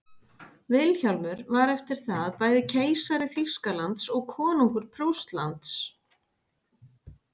vilhjálmur var eftir það bæði keisari þýskalands og konungur prússlands